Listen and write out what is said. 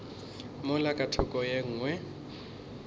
mola ka thoko ye nngwe